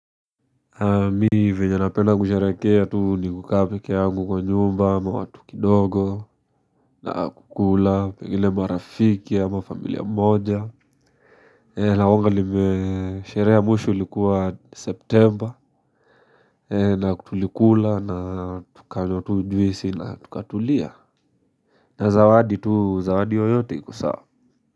Me venye napenda kusherekea tu ni kukaa pekee yangu kwa nyumba ama watu kidogo na kukula pengine marafiki ama familia mmoja la wonga nimesherehe ya mwisho ilikuwa september na kutulikula na tukanywa tu juice na tukatulia na zawadi tu zawadi yoyote ikso sawa.